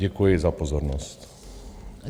Děkuji za pozornost.